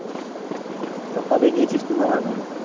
সেইটো তো কবে গিয়েছিস তুই মামার বাড়ি?